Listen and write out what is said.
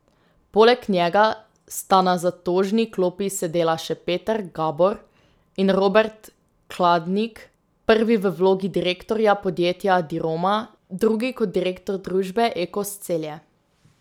Poleg njega sta na zatožni klopi sedela še Peter Gabor in Robert Kladnik, prvi v vlogi direktorja podjetja Diroma, drugi kot direktor družbe Ekos Celje.